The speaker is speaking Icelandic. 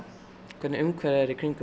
hvernig umhverfið er í kringum